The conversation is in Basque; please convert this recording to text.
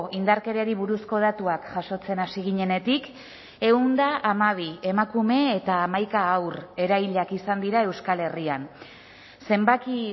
indarkeriari buruzko datuak jasotzen hasi ginenetik ehun eta hamabi emakume eta hamaika haur erailak izan dira euskal herrian zenbaki